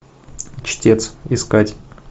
чтец искать